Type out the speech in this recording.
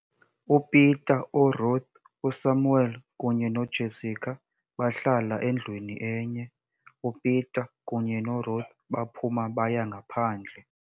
"UPeter, uRuth, uSamuel kunye noJessica bahlala endwini enye. uPeter kunye noRuth baphuma baya ngaphandle.